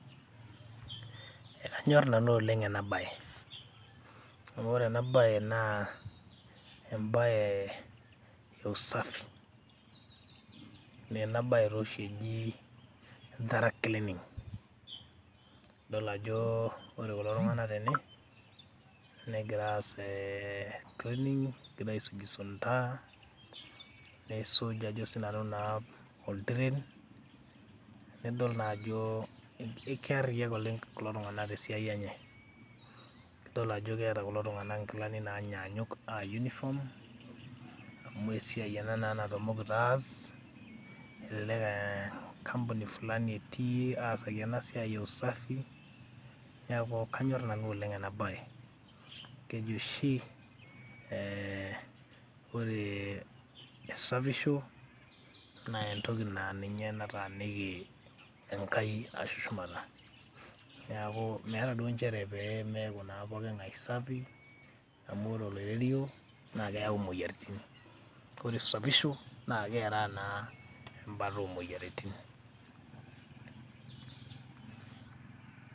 ekanyorr nanu oleng ena baye amu ore ena baye naa embaye e usafi naa ena baye taa oshi eji thorough cleaning idol ajo ore kulo tung'anak tene negira aas cleaning egira aisuj isunta neisuj ajo sinanu naa oltiren nidol naa ajo kearriyiak oleng kulo tung'anak tesiai enye idol ajo keeta kulo tung'anak inkilani nanyanyuk aa uniform amu esiai ena naa natamokito aas elelek enkampuni fulani etii asaki ena siai e usafi niaku kanyorr nanu oleng ena baye keji oshi eh, ore esapisho naa entoki naa ninye nataniki Enkai ashu shumata niaku meeta naa nchere pemeaku naa poking'ae sapi amu ore oloirerio naa keyau imoyiaritin ore esapisho naa keraa naa embata omoyiaritin.